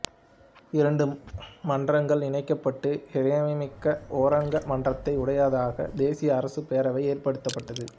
இரண்டு மன்றங்களும் இணைக்கப்பட்டு இறைமைமிக்க ஓரங்க மன்றத்தை உடையதாக தேசிய அரசுப் பேரவை ஏற்படுத்தப்பட்டது